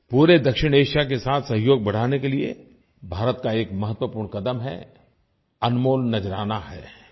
पूरे दक्षिणएशिया के साथ सहयोग बढ़ाने के लिये भारत का एक महत्वपूर्ण कदम है अनमोल नज़राना है